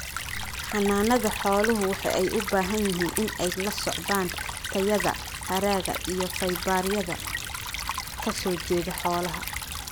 Xanaanada xooluhu waxa ay u baahan yihiin in ay la socdaan tayada haragga iyo faybaryada ka soo jeeda xoolaha.